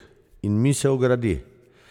In misel gradi.